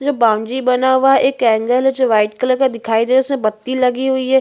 यहाँ बाउंड्री बना हुआ है एक ऐंगल है जो व्हाइट कलर का दिखाई दे उसमे बत्ती लगी हुई है।